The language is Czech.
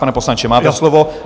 Pane poslanče, máte slovo.